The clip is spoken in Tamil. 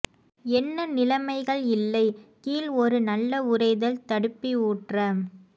என்ன நிலைமைகள் இல்லை கீழ் ஒரு நல்ல உறைதல் தடுப்பி ஊற்ற